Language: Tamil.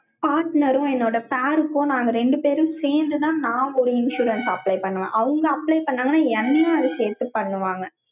partner ம், என்னோட pair க்கும், நாங்க ரெண்டு பேரும் சேர்ந்துதான், நான் ஒரு insurance apply பண்ணுவேன். அவங்க apply பண்ணாங்கன்னா, என்ன அது சேர்த்து பண்ணுவாங்க?